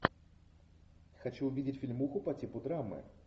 хочу увидеть фильмуху по типу драмы